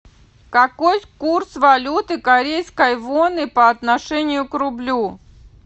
какой курс валюты корейской воны по отношению к рублю